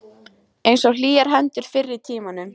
Einsog hlýjar hendurnar fyrr í tímanum.